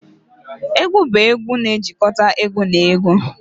Egwu bụ egwu egwu na-ejikọta egwu na egwu